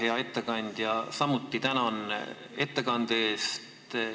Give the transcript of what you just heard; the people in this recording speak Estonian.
Hea ettekandja, samuti tänan ettekande eest!